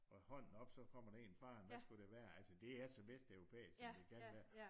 Hånden op så kommer der en farende hvad skulle det være altså det er så vesteuropæisk som det kan være